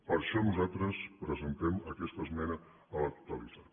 per això nosaltres presentem aquesta esmena a la totalitat